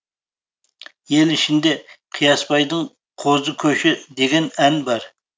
ел ішінде қиясбайдың қозы көші деген ән бар